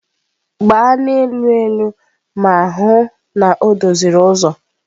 Gbaa n'elu elu ma hụ na o doziri ụzọ!.